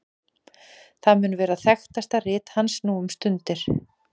það mun vera þekktasta rit hans nú um stundir